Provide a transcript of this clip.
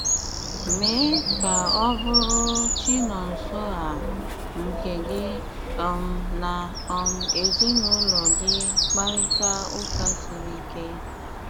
Mee ka ọ̀ bụrụ̀ Chinonsoer nke gị um na um ezinụlọ̀ gị kparịtà ụ́ka siri ike.